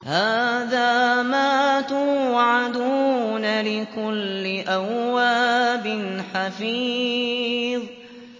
هَٰذَا مَا تُوعَدُونَ لِكُلِّ أَوَّابٍ حَفِيظٍ